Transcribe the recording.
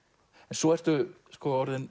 svo ertu orðin